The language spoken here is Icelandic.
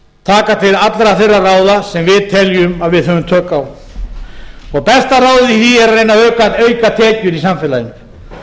taka til allra þeirra ráða sem við teljum að við höfum tök á besta ráðið í því er að reyna að auka tekjur í samfélaginu